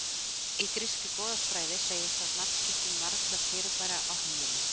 Í grískri goðafræði segir frá nafngiftum margra fyrirbæra á himninum.